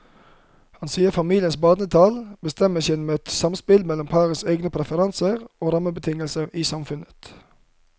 Han sier familienes barnetall bestemmes gjennom et samspill mellom parenes egne preferanser og rammebetingelsene i samfunnet.